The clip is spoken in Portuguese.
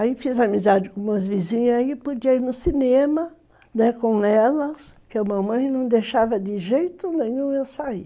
Aí fiz amizade com umas vizinhas aí, podia ir no cinema, né, com elas, que a mamãe não deixava de jeito nenhum eu sair.